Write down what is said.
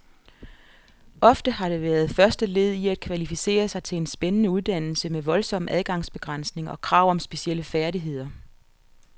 Ofte har det været første led i at kvalificere sig til en spændende uddannelse med voldsom adgangsbegrænsning og krav om specielle færdigheder.